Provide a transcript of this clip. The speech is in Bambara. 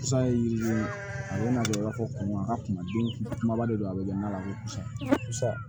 San ye yiri ye a bɛ na kɛ b'a fɔ kun a ka kumaden kumaba de don a bɛ kɛ nan lasago kosɛbɛ